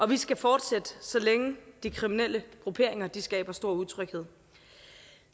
vi skal fortsætte så længe de kriminelle grupperinger skaber stor utryghed